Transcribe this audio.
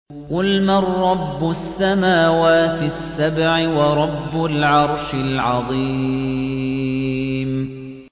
قُلْ مَن رَّبُّ السَّمَاوَاتِ السَّبْعِ وَرَبُّ الْعَرْشِ الْعَظِيمِ